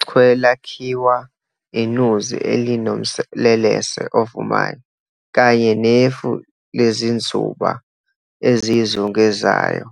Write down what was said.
Ichwe lakhiwa inuzi elinomlelesa ovumayo, kanye nefu lezinzuba eziyizungezayo